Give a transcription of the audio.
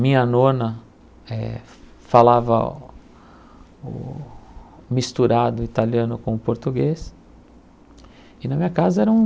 Minha nona eh falava misturado italiano com português e na minha casa era um